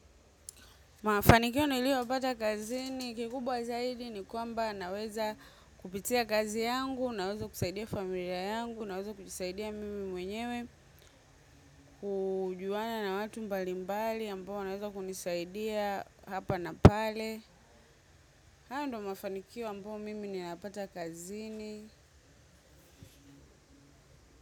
Mafanikio nilio pata kazini, kikubwa zaidi ni kwamba naweza kupitia kazi yangu, naweza kusaidia familia yangu, naweza kusaidia mimi mwenyewe, kujuana na watu mbalimbali, ambao wanaweza kunisaidia hapa na pale. Hayo ndo mafanikio ambao mimi ni napata kazini.